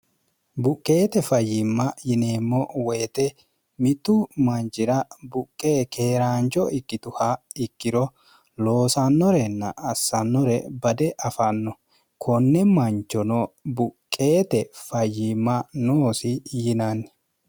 buqqeete fayyimma yineemmo woyite mittu manjira buqqe keeraancho ikkituha ikkiro loosannorenna assannore bade afanno konne manchono buqqeete fayyiimma noosi yinanni